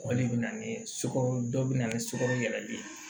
O de bɛ na ni sukaro dɔ bɛ na ni sukaro yɛlɛli ye